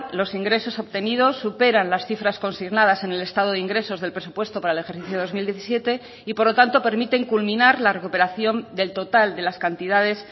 los ingresos obtenidos superan las cifras consignadas en el estado de ingresos del presupuesto para el ejercicio dos mil diecisiete y por lo tanto permiten culminar la recuperación del total de las cantidades